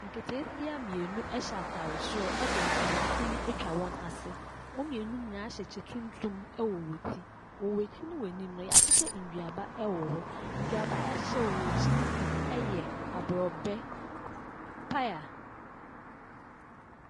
Nketesia mmienu hyɛ ataare soro de de ntomasin atwa wɔn ase. Wɔn mmienu no nyinaa hyɛ kyɛ tuntum wɔ wɔn ti. Wɔ wɔn aky ne wɔn anim no, yɛahyehyɛ nnuaba wɔ wɔn akyi no bi yɛ aborobɛ, paya.